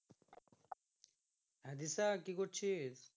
হ্যাঁ দিশা কি করছিস?